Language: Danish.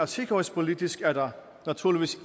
sikkerhedspolitisk naturligvis